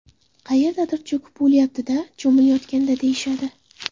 Qayerdadir cho‘kib o‘lyapti-da cho‘milayotganda deyishadi.